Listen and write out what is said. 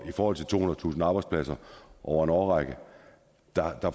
i forhold til tohundredetusind mistede arbejdspladser over en årrække